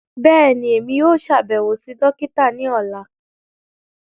Bẹ́ẹ̀ni, Emi yóò ṣabẹwo si dokita ni ọla.